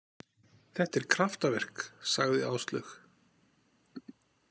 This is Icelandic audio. Þetta er kraftaverk, sagði Áslaug.